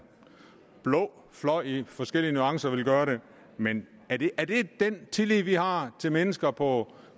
blå fløj i forskellige nuancer vil gøre det men er det den tillid vi har til mennesker på